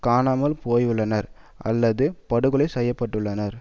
காணாமல் போயுள்ளனர் அல்லது படுகொலை செய்ய பட்டுள்ளனர்